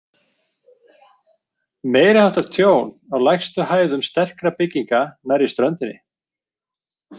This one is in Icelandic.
Meiriháttar tjón á lægstu hæðum sterkra bygginga nærri ströndinni.